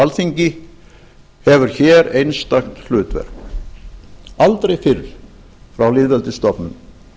alþingi hefur hér einstakt hlutverk aldrei fyrr frá lýðveldisstofnun